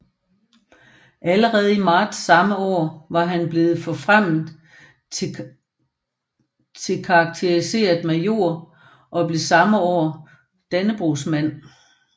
Allerede i marts samme år var han blevet forfremmet til karakteriseret major og blev samme år Dannebrogsmand